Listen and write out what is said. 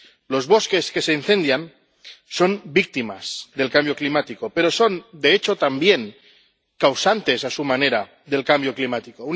Los bosques que se incendian son víctimas del cambio climático, pero son, de hecho, también causantes, a su manera, del cambio climático.